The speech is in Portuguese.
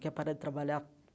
Quer parar de trabalhar?